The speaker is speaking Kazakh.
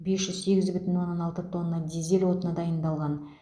бес жүз сегіз бүтін оннан алты тонна дизель отыны дайындалған